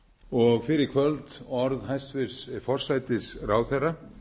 og fyrr í kvöld orð hæstvirts forsætisráðherra